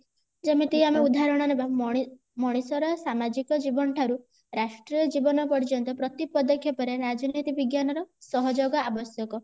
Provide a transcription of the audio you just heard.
ଯେମିତି ଆମେ ଉଦାହରଣ ନେବା ମଣି ମଣିଷ ର ସାମାଜିକ ଜୀବନ ଠାରୁ ରାଷ୍ଟ୍ରୀୟ ଜୀବନ ପର୍ଯ୍ୟନ୍ତ ପ୍ରତି ପଦକ୍ଷେପ ରେ ରାଜନୀତି ବିଜ୍ଞାନ ର ସହଯୋଗ ଆବଶ୍ୟକ